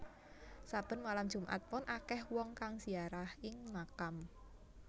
Saben malem Jumat Pon akeh wong kang ziarah ing makam